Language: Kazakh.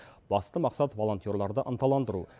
басты мақсат волонтерларды ынталандыру